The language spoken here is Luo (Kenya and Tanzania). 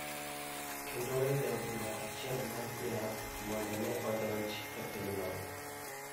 kendo weyo jaod bura achiel ma Tlaib, mondo ne donj e pinyon